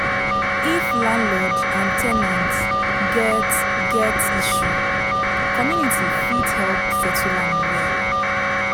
If landlord and ten ant get get issue, community fit help settle am well.